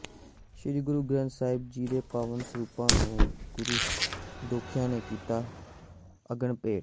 ਸ੍ਰੀ ਗੁਰੂ ਗ੍ਰੰਥ ਸਾਹਿਬ ਜੀ ਦੇ ਪਾਵਨ ਸਰੂਪਾਂ ਨੂੰ ਗੁਰੂ ਦੋਖੀਆਂ ਨੇ ਕੀਤਾ ਅਗਨ ਭੇਟ